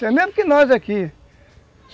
É mesmo que nós aqui.